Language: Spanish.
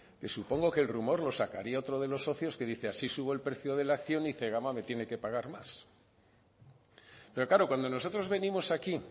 que supongo que el rumor lo sacaría otro de los socios que dice así subo el precio de la acción y zegona me tiene que pagar más pero claro cuando nosotros venimos aquí